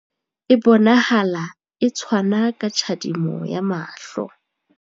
E bonahala e tshwana ka tjhadimo ya mahlo.